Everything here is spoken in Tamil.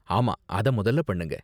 ஆமா, அத முதல்ல பண்ணுங்க.